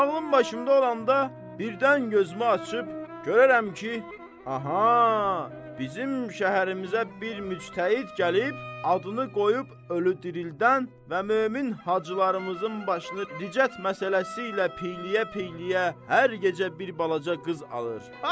Ağlım başımda olanda birdən gözümü açıb görərəm ki, aha! Bizim şəhərimizə bir müctəhid gəlib, adını qoyub ölü dirildən və mömin hacılarımızın başını dicət məsələsi ilə piyləyə-piyləyə hər gecə bir balaca qız alır.